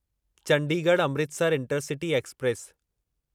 Chandigarh Amritsar intercity express